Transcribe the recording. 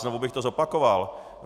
Znovu bych to zopakoval.